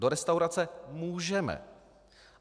Do restaurace můžeme.